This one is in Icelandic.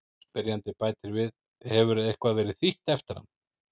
Spyrjandi bætir við: Hefur eitthvað verið þýtt eftir hann?